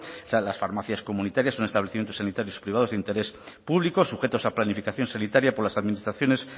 son las farmacias comunitarias unos establecimientos sanitarios privados de interés público sujetos a planificación sanitaria por las administraciones